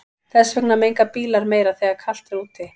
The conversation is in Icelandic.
Þess vegna menga bílar meira þegar er kalt úti.